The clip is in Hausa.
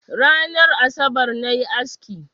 Ranar asabar na yi aski.